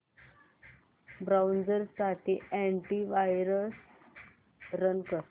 browser साठी antivirus run कर